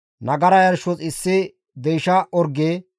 Nagara yarshos issi deysha orge,